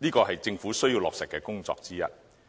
這是政府需要落實的工作之一。